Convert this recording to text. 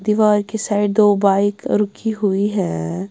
दीवार के साइड दो बाइक रुकी हुई है।